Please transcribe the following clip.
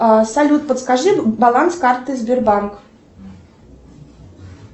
салют подскажи баланс карты сбербанк